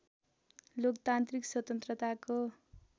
लोकतान्त्रिक स्वतन्त्रताको